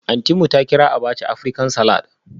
Auntynmu ta kira abacha Aprican-salad